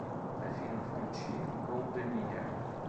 афина включи голденай